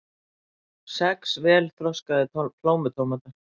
Sex vel þroskaðir plómutómatar